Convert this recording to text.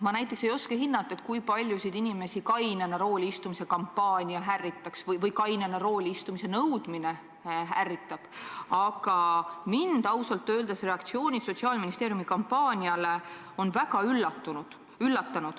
Ma näiteks ei oska hinnata, kui paljusid inimesi kainena rooli istumise kampaania ärritab või kainena rooli istumise nõudmine ärritab, aga ausalt öeldes on mind reaktsioonid Sotsiaalministeeriumi kampaaniale väga üllatanud.